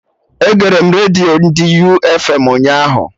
Egere m redio ndị U fm ụnyaahụ